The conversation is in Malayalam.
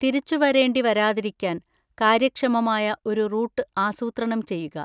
തിരിച്ചുവരേണ്ടി വരാതിരിക്കാൻ കാര്യക്ഷമമായ ഒരു റൂട്ട് ആസൂത്രണം ചെയ്യുക.